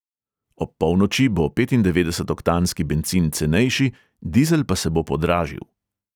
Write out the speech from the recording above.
Ob polnoči bo petindevetdesetoktanski bencin cenejši, dizel pa se bo podražil.